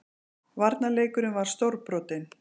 Varnarleikurinn var stórbrotinn